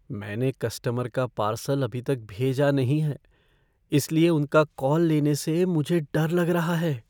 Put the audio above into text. मैंने कस्टमर का पार्सल अभी तक भेजा नहीं है इसलिए उनका कॉल लेने से मुझे डर लग रहा है।